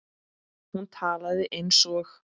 Hún talaði eins og